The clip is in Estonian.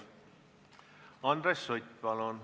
Andres Sutt, palun!